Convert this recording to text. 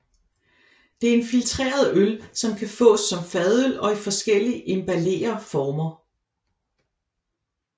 Det er en filtreret øl som kan fås som fadøl og i forskellige emballere former